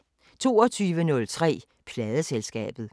22:03: Pladeselskabet